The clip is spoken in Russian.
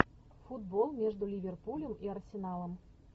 футбол между ливерпулем и арсеналом